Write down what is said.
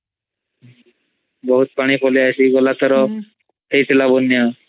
ବହୁତ୍ ପାଣି ପଲେଇଆସି ଗଲାଥର ହଇଥିଲା ବନ୍ୟା